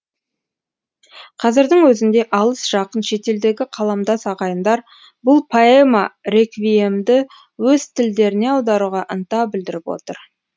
қазірдің өзінде алыс жақын шетелдегі қаламдас ағайындар бұл поэма реквиемді өз тілдеріне аударуға ынта білдіріп отыр